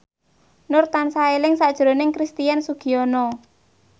Nur tansah eling sakjroning Christian Sugiono